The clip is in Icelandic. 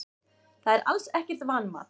Það er alls ekkert vanmat.